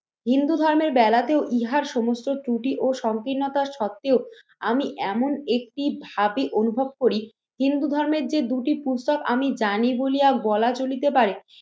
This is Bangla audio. হিন্দু ধর্মের বেলাতেও ইহার সমস্ত ত্রুটি ও সংকীর্ণতার সত্ত্বেও আমি এমন একটি ভাবে অনুভব করি হিন্দু ধর্মের যে দুটি পুস্তক আমি জানি বলিয়া বলা চলিতে পারে